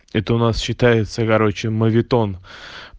это у нас считается короче моветон